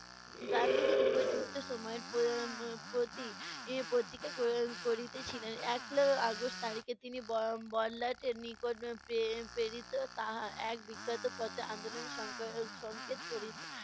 গান্ধিজী উপর্যুক্ত সময়ের প্র~ উম প্রতি~ এর প্রতীক্ষা ক~ করিতেছিলেন। একলা আগস্ট তারিখে তিনি তাহা এক বিখ্যাত পথে আন্দলনের সংকা~ সংকেত করি~